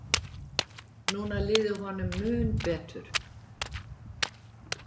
Núna liði honum mun betur.